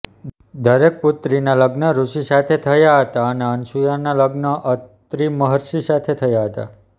દરેક પુત્રીનાં લગ્ન ઋષિ સાથે થયાં હતાં અને અનસૂયાનાં લગ્ન અત્રિ મહર્ષિ સાથે થયાં હતાં